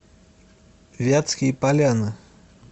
вятские поляны